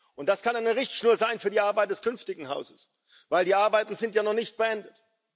Und das kann eine Richtschnur sein für die Arbeit des künftigen Hauses, denn die Arbeiten sind ja noch nicht beendet.